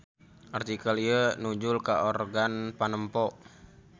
Artikel ieu nujul ka organ panempo.